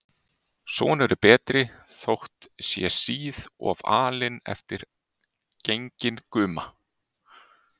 Sonur er betri, þótt sé síð of alinn eftir genginn guma.